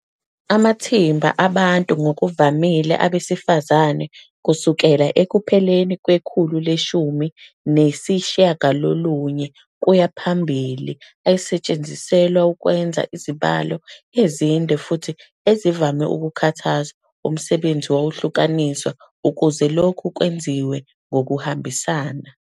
Amathimba abantu, ngokuvamile abesifazane kusukela ekupheleni kwekhulu leshumi nesishiyagalolunye kuya phambili, ayesetshenziselwa ukwenza izibalo ezinde futhi ezivame ukukhathaza, umsebenzi wahlukaniswa ukuze lokhu kwenziwe ngokuhambisana.